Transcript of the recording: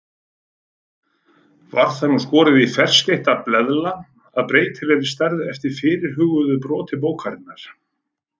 Var það nú skorið í ferskeytta bleðla af breytilegri stærð eftir fyrirhuguðu broti bókarinnar.